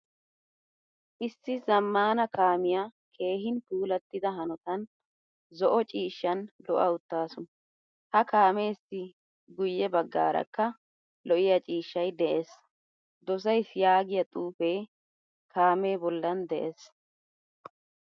Issi zamaana kaamiyaa keehin puulatida haonttan zo'o ciishshan lo'a uttasu. H a kaamessi guye baggaarakka lo'iyaa ciishshay de'ees. Dosaysi yaagiyaa xuufe kaame bollan de'ees.